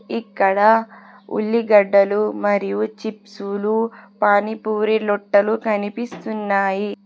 ఇక్కడ ఉల్లిగడ్డలు మరియు చిప్సులు పానీ పూరి లొట్టలు కనిపిస్తున్నాయి.